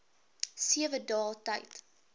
sewe dae tyd